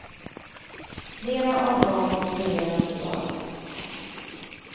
Flera av dem opereras i dag.